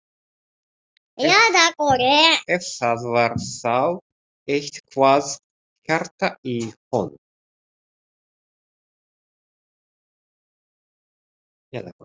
Ef það var þá eitthvað hjarta í honum!